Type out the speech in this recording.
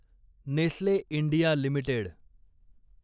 Nestle India limited